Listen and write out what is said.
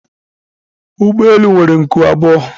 ụgbọ elu nwere nku abụọ